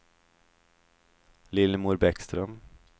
Lillemor Bäckström